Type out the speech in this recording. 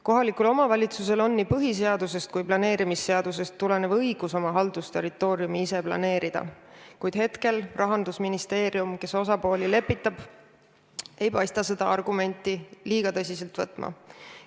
Kohalikul omavalitsusel on nii põhiseadusest kui planeerimisseadusest tulenev õigus oma haldusterritooriumi ise planeerida, kuid hetkel Rahandusministeerium, kes osapooli lepitab, ei paista seda argumenti tõsiselt võtvat.